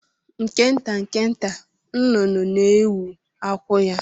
Nke nta nke nta, nnụnụ na-ewu akwụ ya.